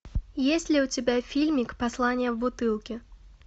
есть ли у тебя фильмик послание в бутылке